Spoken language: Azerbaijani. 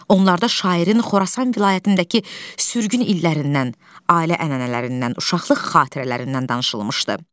Onlarda şairin Xorasan vilayətindəki sürgün illərindən, ailə ənənələrindən, uşaqlıq xatirələrindən danışılmışdı.